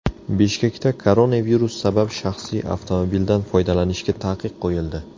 Bishkekda koronavirus sabab shaxsiy avtomobildan foydalanishga taqiq qo‘yildi.